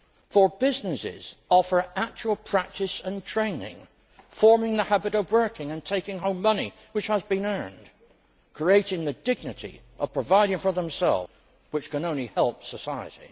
For businesses offer actual practice and training, forming the habit of working and taking home money which has been earned, creating the dignity of providing for oneself, which can only help society.